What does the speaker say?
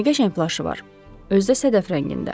Nə qəşəng plaşı var, özü də sədəf rəngində.